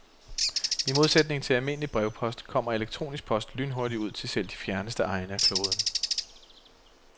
I modsætning til almindelig brevpost, kommer elektronisk post lynhurtigt ud til selv de fjerneste egne af kloden.